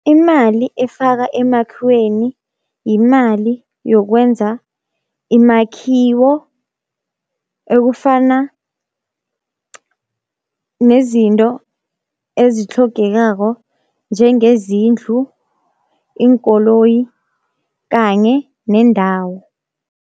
Imali efaka emakhiweni yimali yokwenza imakhiwo ekufana nezinto ezitlhogekako njengezindlu, iinkoloyi kanye nendawo.